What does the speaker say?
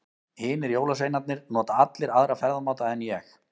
Hinir jólasveinarnir nota allir aðra ferðamáta en ég.